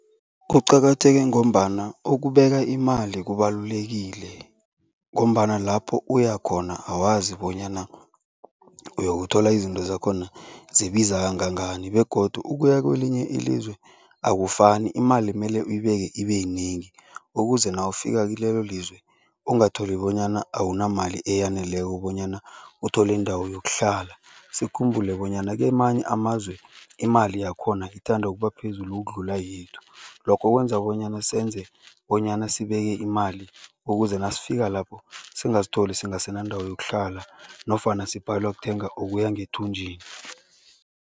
Kuqakatheke ngombana ukubeka imali kubalulekile ngombana lapho uya khona awazi bonyana uyokuthola izinto zakhona zibiza kangangani begodu ukuya kwelinye ilizwe akufani, imali mele uyibeke ibe yinengi ukuze nawufika kilelo lizwe ungatholi bonyana awunamali eyaneleko bonyana uthole indawo yokuhlala. Sikhumbule bonyana kwamanye amazwe imali yakho khona ithanda ukuba phezulu ukudlula yethu, lokho kwenza bonyana senze bonyana sibeke imali ukuze nasifika lapho singazitholi singasenandawo yokuhlala nofana sibhalelwa kuthenga okuya ngethunjini.